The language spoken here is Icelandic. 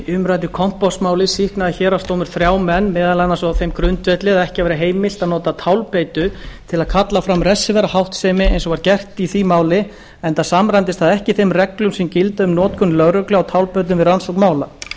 umræddu kompásmáli sýknaði héraðsdómur þrjá menn meðal annars á þeim grundvelli að ekki væri heimilt að nota tálbeitu til að kalla fram refsiverða háttsemi eins og var gert í því máli enda samræmdist það ekki þeim reglum sem gilda um notkun lögreglu á tálbeitum við rannsókn mála